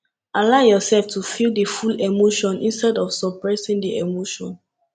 allow yourself to feel di full emotion instead of suppressing di emotion